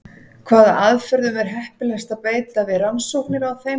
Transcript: Hvaða aðferðum er heppilegast að beita við rannsóknir á þeim?